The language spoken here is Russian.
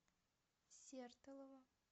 сертолово